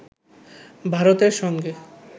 ভারতের সঙ্গে